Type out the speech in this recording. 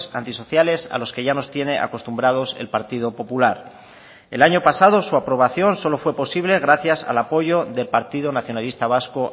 antisociales a los que ya nos tiene acostumbrados el partido popular el año pasado su aprobación solo fue posible gracias al apoyo del partido nacionalista vasco